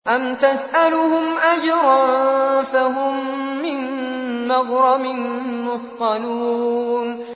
أَمْ تَسْأَلُهُمْ أَجْرًا فَهُم مِّن مَّغْرَمٍ مُّثْقَلُونَ